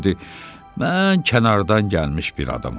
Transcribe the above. Mən kənardan gəlmiş bir adamam.